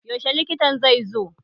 Yaushe likitan zai zo?